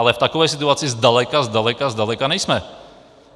Ale v takové situaci zdaleka, zdaleka, zdaleka nejsme.